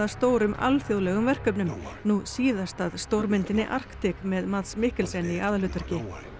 stórum alþjóðlegum verkefnum nú síðast að stórmyndinni Arctic með Mikkelsen í aðalhlutverki